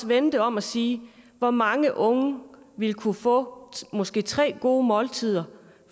vende det om og sige hvor mange unge ville kunne få måske tre gode måltider